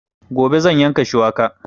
Gobe zan yanka shuwaka